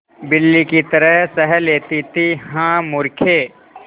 बिल्ली की तरह सह लेती थीहा मूर्खे